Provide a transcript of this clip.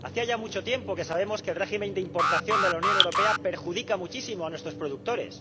Hacía ya mucho tiempo que sabíamos que el régimen de importación de la Unión Europea perjudica muchísimo a nuestros productores.